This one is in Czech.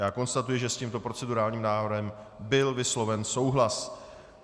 Já konstatuji, že s tímto procedurálním návrhem byl vysloven souhlas.